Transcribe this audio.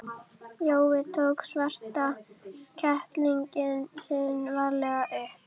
Jói tók svarta kettlinginn sinn varlega upp.